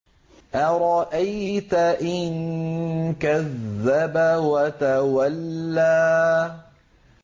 أَرَأَيْتَ إِن كَذَّبَ وَتَوَلَّىٰ